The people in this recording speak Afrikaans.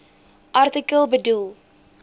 artikel bedoel